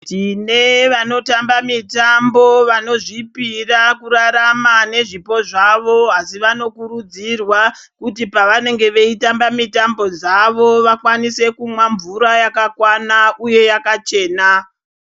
Tine vanotamba mitambo vanozvipira kurarama nezvipo zvavo asi vanokurudzirwa kuti pavanenge veitamba mitambo dzavo vakwanise kumwa mvura yakakwana uye yakachena.